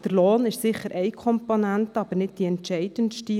Der Lohn ist sicherlich eine Komponente, aber nicht die entscheidendste.